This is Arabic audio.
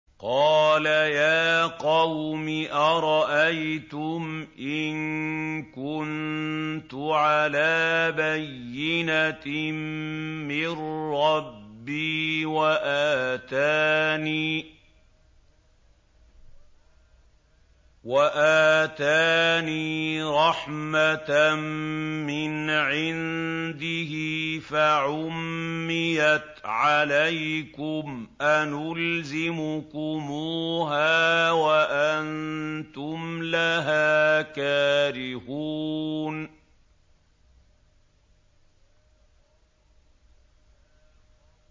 قَالَ يَا قَوْمِ أَرَأَيْتُمْ إِن كُنتُ عَلَىٰ بَيِّنَةٍ مِّن رَّبِّي وَآتَانِي رَحْمَةً مِّنْ عِندِهِ فَعُمِّيَتْ عَلَيْكُمْ أَنُلْزِمُكُمُوهَا وَأَنتُمْ لَهَا كَارِهُونَ